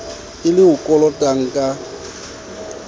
e le o kolotang ka